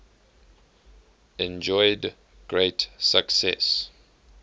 enjoyed great success